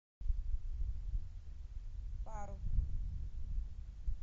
парус